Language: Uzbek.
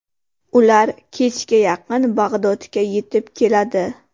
Ular kechga yaqin Bag‘dodga yetib keladi.